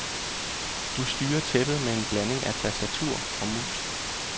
Du styrer tæppet med en blanding af tastatur og mus.